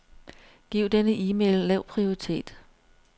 Giv denne e-mail lav prioritet.